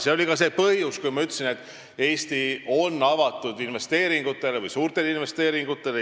See oli ka põhjus, miks ma ütlesin, et Eesti on avatud investeeringutele, suurtele investeeringutele.